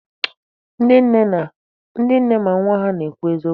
Ndị nne ma nwa ha nke na-ekwu eziokwu.